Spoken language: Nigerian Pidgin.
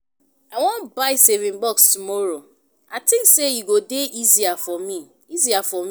I wan buy saving box tomorrow I think say e go dey easier for me easier for me